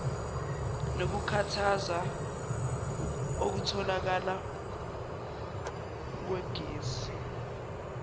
nokukhuthaza ukutholakala kwegesi